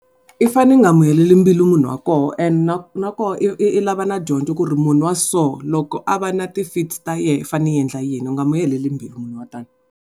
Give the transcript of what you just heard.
I fane i nga mu heleli mbilu munhu wa koho and na nakona i lava na dyondzo ku ri munhu wa so loko a va na ti-fits ta yena i fane i endla yini u nga n'wi heleri mbilu munhu wa tani.